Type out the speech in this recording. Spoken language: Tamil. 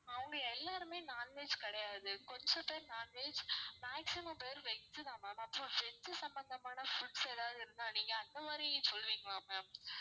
அவங்க எல்லாருமே non veg கிடையாது கொஞ்சம் பேரு non veg maximum பேரு veg தான் ma'am அப்பறம் veg சம்மந்தமான foods எதாவது இருந்தா நீங்க அந்த மாதிரி சொல்வீங்களா ma'am